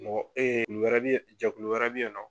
Mɔgɔ bɛ ye jɛkulu wɛrɛ bɛ ye nɔ.